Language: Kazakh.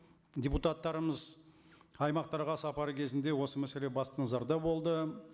депутаттарымыз аймақтарға сапары кезінде осы мәселе басты назарда болды